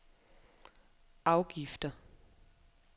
afgifter